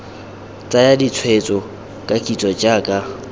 tsaya ditshwetso ka kitso jaaka